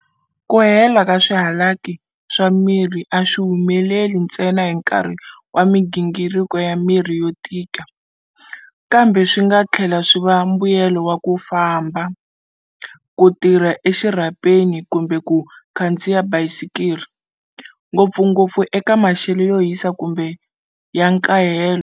Ku hela ka swihalaki swa miri a swi humeleli ntsena hi nkarhi wa migingiriko ya miri yo tika, kambe swi nga tlhela swi va mbuyelo wa ku famba, ku tirha exirhapeni kumbe ku khandziya bayisikiri, ngopfungopfu eka maxelo yo hisa kumbe ya nkahelo.